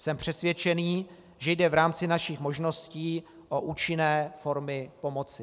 Jsem přesvědčený, že jde v rámci našich možností o účinné formy pomoci.